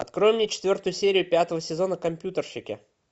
открой мне четвертую серию пятого сезона компьютерщики